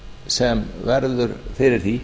sem verður fyrir því